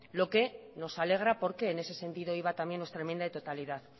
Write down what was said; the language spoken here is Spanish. lo que nos alegra porque en ese sentido iba también nuestra enmienda de totalidad